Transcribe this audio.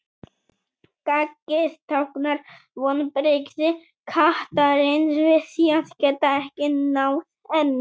Gaggið táknar vonbrigði kattarins við því að geta ekki náð henni.